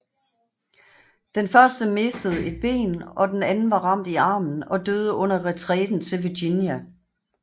Den første mistede et ben og den anden var ramt i armen og døde under retræten til Virginia